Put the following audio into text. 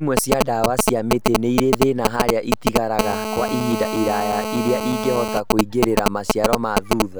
Imwe cia ndawa cia mĩtĩ nĩirĩ thĩna harĩa ĩtigaraga Kwa ihinda iraya iria ĩngĩhota kũingĩrĩra maciaro ma thutha